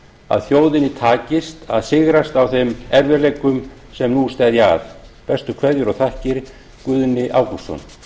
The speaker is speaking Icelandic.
að þjóðinni takist að sigrast á þeim erfiðleikum sem nú steðja að bestu kveðjur og þakkir guðni ágústsson